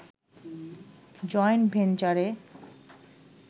joint ভেঞ্চারে